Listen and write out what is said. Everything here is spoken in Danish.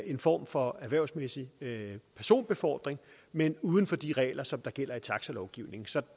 en form for erhvervsmæssig personbefordring men uden for de regler som gælder i taxalovgivningen så